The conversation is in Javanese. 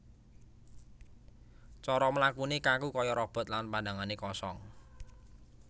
Cara mlakune kaku kaya robot lan pandhangane kosong